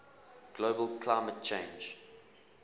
global climate change